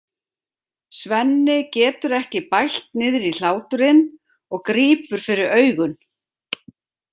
Svenni getur ekki bælt niðri hláturinn og grípur fyrir augun.